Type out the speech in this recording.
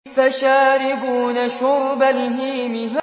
فَشَارِبُونَ شُرْبَ الْهِيمِ